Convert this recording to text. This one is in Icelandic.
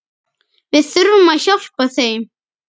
Við þurfum að hjálpa þeim.